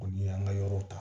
O ni y'an ka yɔrɔw ta